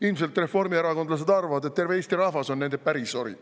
Ilmselt reformierakondlased arvad, et terve Eesti rahvas on nende pärisori.